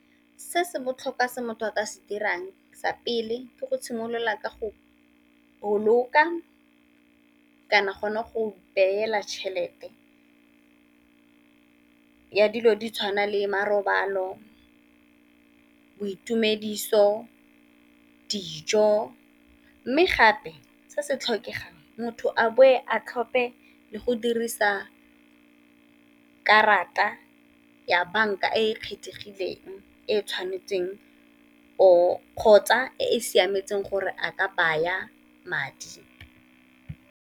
Se se botlhokwa se motho a ka se dirang sa pele ke go simolola ka go boloka, kana gona go beela tšhelete ya dilo di tshwana le marobalo, boitumediso, dijo. Mme gape se se tlhokegang motho a boe a tlhophe le go dirisa karata ya banka e e kgethegileng, e e tshwanetseng kgotsa e e siametseng gore a ka baya madi.